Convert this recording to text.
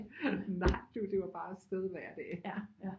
Nej du det var bare afsted hver dag